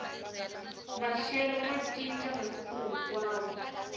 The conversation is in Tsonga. maxelo ma ncinca masiku hinkwawo